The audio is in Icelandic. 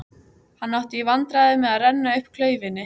Hann átti í vandræðum með að renna upp klaufinni.